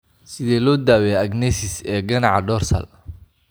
Sidee loo daweeyaa agenesis ee ganaca dorsal?